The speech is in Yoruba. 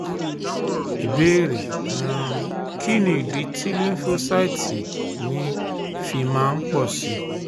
Ìbéèrè: um Kí nì idí tí lymphocyte mi fi máa ń pọ̀ sí i?